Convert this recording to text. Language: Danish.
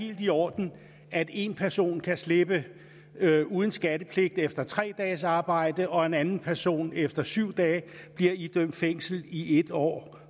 helt i orden at en person kan slippe uden skattepligt efter tre dages arbejde og at en anden person efter syv dage bliver idømt fængsel i en år